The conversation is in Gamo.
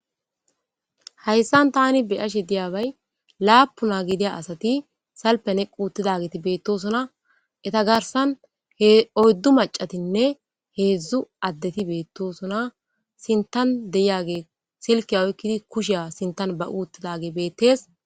hayssan tani beyashe diyabay laapuna gidiya asati salpene quuttidageti beettosona eta garsan he oyddu macatinne heedzdzu addeti beettosona sintan deyage silke oykkidi kusheya sintan ba uuttidage beettees